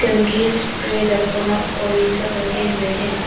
Spray डब्बा और ये सब रखे हुए हैं।